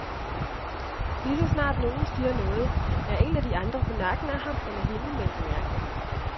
Lige så snart nogen siger noget, er en af de andre på nakken af ham eller hende med en bemærkning.